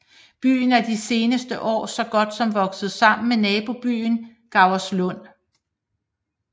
Byen er de seneste år så godt som vokset sammen med nabobyen Gauerslund